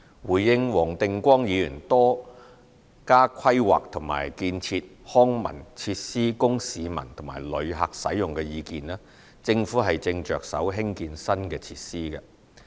回應黃定光議員多加規劃和建設康文設施供市民和旅客使用的意見，政府正着手興建新的設施。